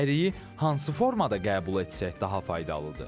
Əriyi hansı formada qəbul etsək daha faydalıdır?